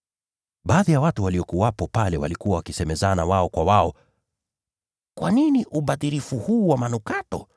Baadhi ya watu waliokuwepo pale walikuwa wakisemezana wao kwa wao, “Upotevu huu wote ni wa nini?